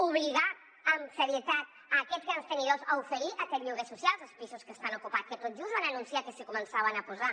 obligar amb serietat aquests grans tenidors a oferir aquest lloguer social dels pisos que estan ocupats que tot just van anunciar que s’hi començaven a posar